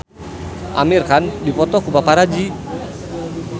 Amir Khan dipoto ku paparazi